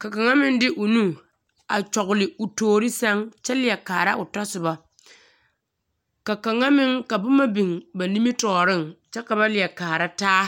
Ka kaŋa meŋ de o nu a kyɔgele o toori sɛŋ kyɛ leɛ kaara o tasobɔ. Ka kaŋa meŋ ka boma biŋ ba nimitɔɔreŋ kyɛ ka ba leɛ kaara taa!